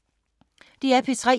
DR P3